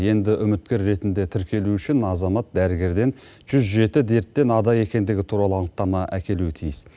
енді үміткер ретінде тіркелу үшін азамат дәрігерден жүз жеті дерттен ада екендігі туралы анықтама әкелуі тиіс